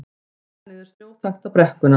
Þjóta niður snjóþakta brekkuna